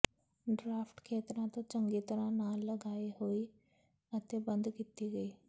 draft ਖੇਤਰਾਂ ਤੋਂ ਚੰਗੀ ਤਰ੍ਹਾਂ ਨਾਲ ਲਗਾਈ ਹੋਈ ਅਤੇ ਬੰਦ ਕੀਤੀ ਗਈ